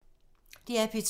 DR P2